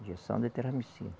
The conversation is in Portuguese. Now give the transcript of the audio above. Injeção de terramicina.